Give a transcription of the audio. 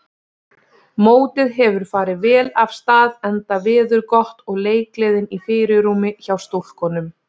Mótið hefur farið vel af stað enda veður gott og leikgleðin í fyrirrúmi hjá stúlkunum.